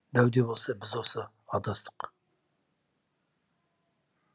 дәу де болса біз осы адастық